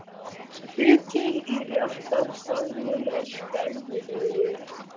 Hitinn í réttarsalnum er skelfilegur.